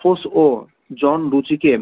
ফস অর জন লুচি কে